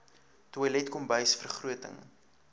toilet kombuis vergroting